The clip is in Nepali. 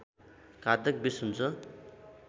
घातक विष हुन्छ